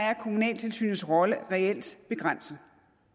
er kommunaltilsynets rolle reelt begrænset